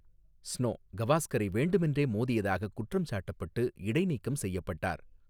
Snow, கவாஸ்கரை வேண்டுமென்றே மோதியதாகக் குற்றம் சாட்டப்பட்டு இடைநீக்கம் செய்யப்பட்டார்.